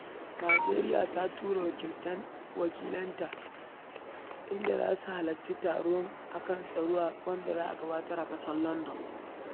Najeriya ta tura wakilanta da za su halarci taro a kan tsaro da za a gudanar a London.